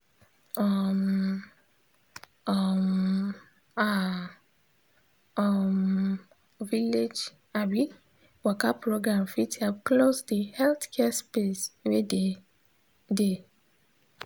um um ah um village um waka program fit help close de healthcare space wey dey. dey.